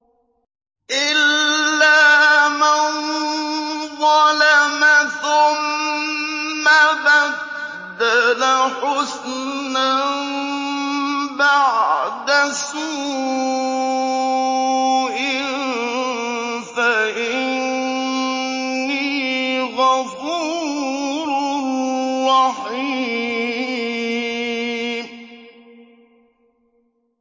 إِلَّا مَن ظَلَمَ ثُمَّ بَدَّلَ حُسْنًا بَعْدَ سُوءٍ فَإِنِّي غَفُورٌ رَّحِيمٌ